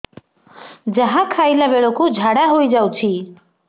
ଯାହା ଖାଇଲା ବେଳକୁ ଝାଡ଼ା ହୋଇ ଯାଉଛି